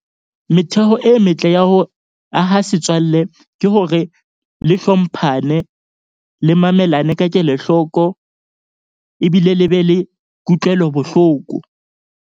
Metheo e metle ya ho aha setswalle ke hore le hlomphane le mamelane ka kelohloko. Ebile le be le kutlwelo bohloko.